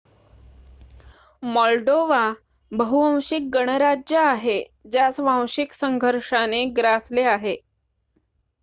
Moldova बहु-वांशिक गणराज्य आहे ज्यास वांशिक संघर्षाने ग्रासले आहे